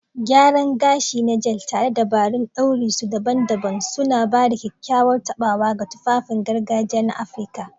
Gyaran gashi na Gele, tare da dabarun ɗaure su daban-daban, suna ba da kyakkyawar taɓawa ga tufafin gargajiya na Afirka.